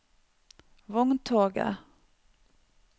vogntoget